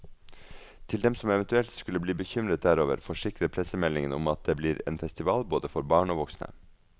Til dem som eventuelt skulle bli bekymret derover, forsikrer pressemeldingen om at blir en festival både for barn og voksne.